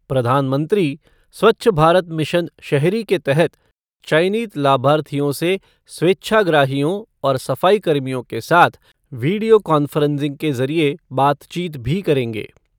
प्रधानमंत्री स्वच्छ भारत मिशन शहरी के तहत चयनित लाभार्थियों से स्वेच्छाग्रहियों और सफाई कर्मियों के साथ वीडियो कांफ़्रेंसिंग के जरिये बातचीत भी करेंगे।